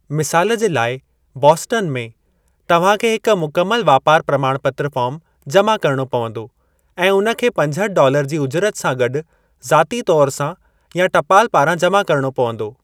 मिसाल जे लाइ, बॉस्टन में, तव्हां खे हिक मुकमल वापार प्रमाणपत्र फ़ार्म जमा करणो पवंदो ऐं हुन खे पंजअठि डॉलर जी उजरत सां गॾु ज़ाती तौरु सां या टपाल पारां जमा करणो पवंदो।